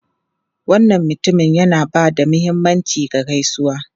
Wannan mutumin yana ba da mahimmanci ga gaisuwa.